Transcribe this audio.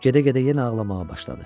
Gedə-gedə yenə ağlamağa başladı.